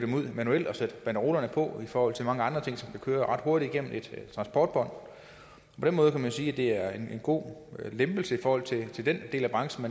manuelt og sætte banderolerne på i forhold til mange andre ting som kan køre ret hurtigt igennem et transportbånd på den måde kan man sige at det er en god lempelse i forhold til den del af branchen